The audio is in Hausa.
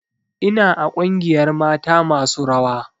Ina a ƙungiyar mata masu rawa